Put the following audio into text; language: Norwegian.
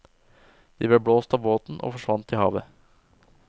De ble blåst av båten og forsvant i havet.